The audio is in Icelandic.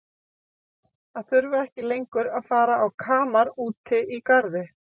Að þurfa ekki lengur að fara á kamar úti í garði.